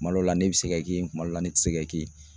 Kuma dɔ la ne bɛ se ka ke yen kuma dɔ la ne tɛ se ka ke yen